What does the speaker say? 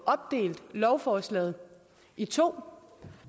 opdelt lovforslaget i to